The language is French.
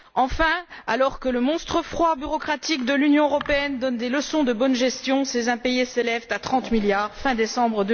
Enfin, alors que le monstre froid bureaucratique de l'Union européenne donne des leçons de bonne gestion, ses impayés s'élevaient à 30 milliards d'euros à la fin décembre